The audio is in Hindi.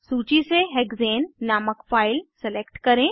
सूची से हेक्सेन नामक फाइल सेलेक्ट करें